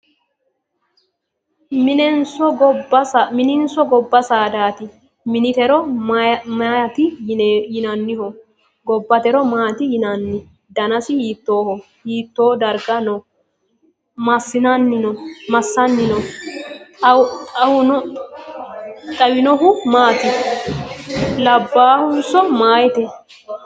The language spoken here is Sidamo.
Mininso gobba saadaati? Minitero maati yinanniho? Gobbatero maatti yinanni? Danasi hiittooho? Hiittoo darga no? Massanni no? Xawinohu maati? Labbaayhonso meeyaate?